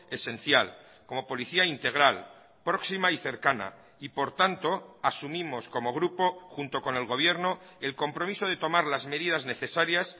esencial como policía integral próxima y cercana y por tanto asumimos como grupo junto con el gobierno el compromiso de tomar las medidas necesarias